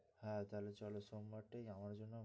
হ্যাঁ তাহলে চলো সোমবার টাই আমাদের জন্য,